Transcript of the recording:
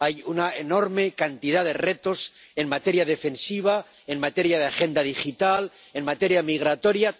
Hay una enorme cantidad de retos en materia defensiva, en materia de Agenda Digital, en materia migratoria.